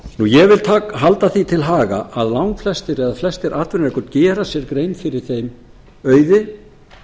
ég vil halda því til haga að langflestir eða flestir atvinnurekendur gera sér grein fyrir þeim auði